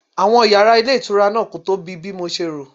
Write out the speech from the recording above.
Àwọn yàrá ilé ìtura náà kò tóbi bí mo ṣe rò.